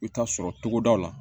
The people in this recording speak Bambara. I bɛ taa sɔrɔ togodaw la